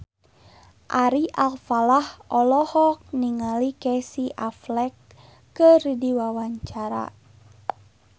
Ari Alfalah olohok ningali Casey Affleck keur diwawancara